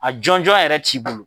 A jɔnjɔn yɛrɛ t'i bolo.